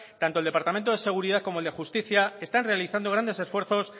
tanto el departamento de seguridad como el de justicia están realizando grandes esfuerzos